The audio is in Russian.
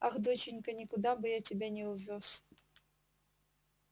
ах доченька никуда бы я тебя не увёз